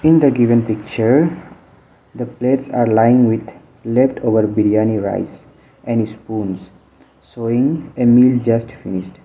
in the given picture the plates are lying with leftover biryani rice and ispoons showing a meal just finished.